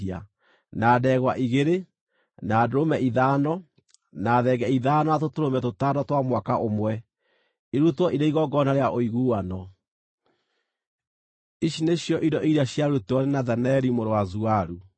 na ndegwa igĩrĩ, na ndũrũme ithano, na thenge ithano na tũtũrũme tũtano twa mwaka ũmwe, irutwo irĩ igongona rĩa ũiguano. Ici nĩcio indo iria ciarutirwo nĩ Nethaneli mũrũ wa Zuaru.